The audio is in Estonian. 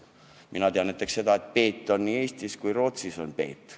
Mina tean näiteks seda, et peet on nii Eestis kui Rootsis peet.